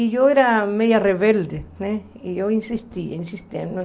E eu era meio rebelde né, e eu insistia, insistia.